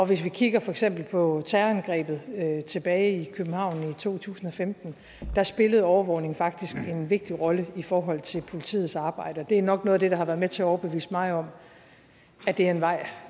hvis vi kigger for eksempel på terrorangrebet tilbage i københavn i to tusind og femten spillede overvågning faktisk en vigtig rolle i forhold til politiets arbejde det er nok noget af det der har været med til overbevise mig om at det er en vej